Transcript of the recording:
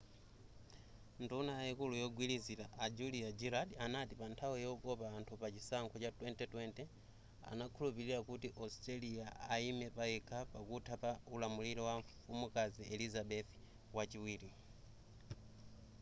nduna yaikulu yogwirizila a julia gillard anati pa nthawi yokopa anthu pa chisankho cha 2020 anakhulupilira kuti australia aime payekha pakutha pa ulamuliro wa mfumukazi elizabeth wachiwiri